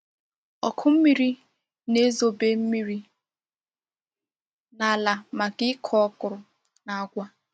Ọkụ mmiri na-ezobe mmiri n’ala maka ịkụ okro na agwa.